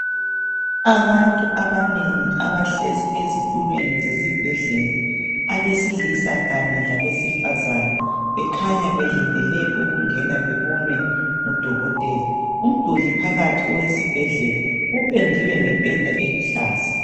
Abantu abanengi abahlezi ezitulweni zesibhedlela abesilisa kanye labesifazane bekhanya belindele ukungena bebonwe ngudokotela. Umduli phakathi owesibhedlela ipendiwe ngependa eluhlaza.